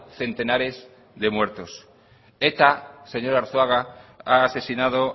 centenares de muertos eta señor arzuaga ha asesinado